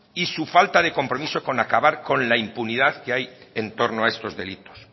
y su falta de compromiso con acabar con la impunidad que hay en torno a estos delitos